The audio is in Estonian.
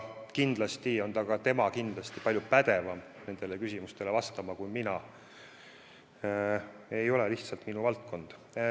Kindlasti on tema minust palju pädevam nendele küsimustele vastama – ei ole lihtsalt minu valdkond.